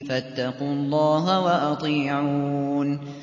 فَاتَّقُوا اللَّهَ وَأَطِيعُونِ